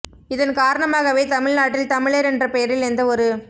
இதன் காரணமாகவே தமிழ் நாட்டில் தமிழர் என்ற பெயரில் எந்த ஒரு